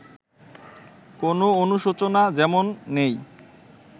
কোনো অনুশোচনা যেমন নেই